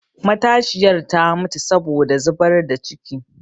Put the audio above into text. Matashiyar ta mutu wurin zubar da ciki